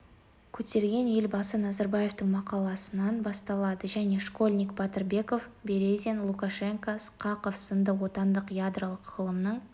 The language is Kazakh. көтерген елбасы назарбаевтың мақаласынан басталады және школьник батырбеков березин лукашенко сқақов сынды отандық ядролық ғылымның